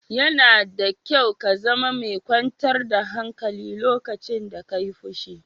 Yana da kyau ka zama mai kyantar da hankali lokacin da ka yi fushi.